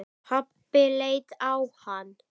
Pabbi leit á hann.